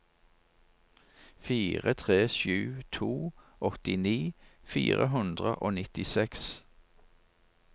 fire tre sju to åttini fire hundre og nittiseks